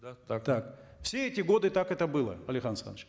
да так так все эти годы так это было алихан асханович